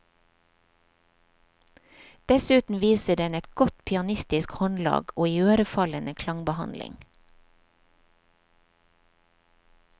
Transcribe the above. Dessuten viser den et godt pianistisk håndlag og iørefallende klangbehandling.